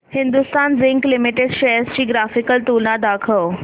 Hindustan zinc limited shares ची graphical तुलना दाखव